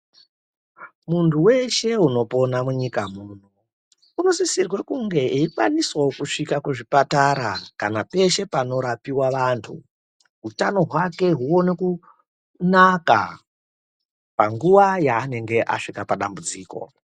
Muntu weshe unopona munyika muno unosisirwe kunge eikwanisawo kusvike kuzvipatara kana peshe panorapiwa vantu utano hwake huone kunaka panguwa yaanenge asvike padambudziko.